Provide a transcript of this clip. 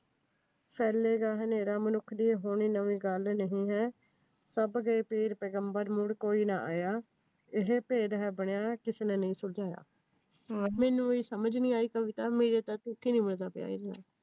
ਹਨੇਰਾ ਮਨੁੱਖ ਦੇ ਹੋਣੀ ਨਵੀ ਗੱਲ ਨਹੀਂ ਹੈ, ਸਭ ਦੇ ਪੀਰ ਪੈਗੰਬਰ ਮੁੜ ਕੋਈ ਨਾ ਆਇਆ, ਇਹ ਭੇਦ ਹੈ ਬਣਿਆ ਕਿਸੇ ਨਹੀਂ ਸੁਲਝਾਇਆ। ਮੈਨੂੰ ਵੀ ਸਮਝ ਨੀ ਆਈ ਕਵਿਤਾ ਮੇਰਾ ਤਾ ਤੁਕ